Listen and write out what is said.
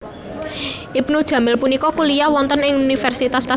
Ibnu jamil punika kuliyah wonten ing Universitas Mercu Buana